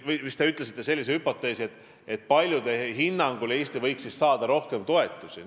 Te vist ütlesite sellise hüpoteesi, et paljude hinnangul võiks siis Eesti rohkem toetusi saada.